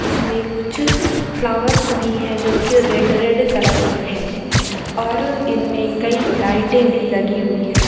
इसमें कुछ फ्लावर्स भी हैं जो की रेड - रेड कलर के हैं और इनमें कई लाइटे भी लगी हुई है।